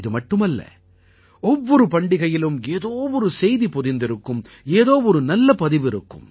இது மட்டுமல்ல ஒவ்வொரு பண்டிகையிலும் ஏதோ ஒரு செய்தி பொதிந்திருக்கும் ஏதோ ஒரு நல்ல பதிவு இருக்கும்